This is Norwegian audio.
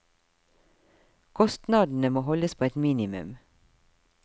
Kostnadene må holdes på et minimum.